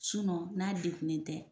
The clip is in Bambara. n'a degunen tɛ.